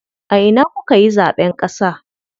A ina kukayi zaɓen ƙasa?